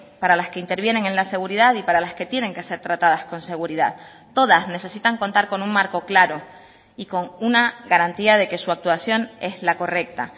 para las que intervienen en la seguridad y para las que tienen que ser tratadas con seguridad todas necesitan contar con un marco claro y con una garantía de que su actuación es la correcta